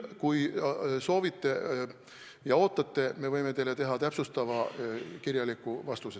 Kui te soovite ja ootate, siis me võime anda täpsustava kirjaliku vastuse.